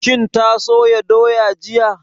Shin ta soya doya jiya?